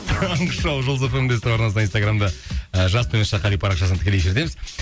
таңғы шоу жұлдыз фм де ств арнасында инстаграмда і жас қали парақшасында тікелей эфирдеміз